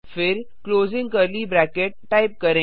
फिर टाइप करें